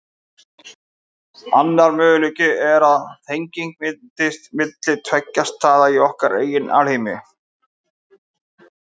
Annar möguleiki er að tenging myndist milli tveggja staða í okkar eigin alheimi.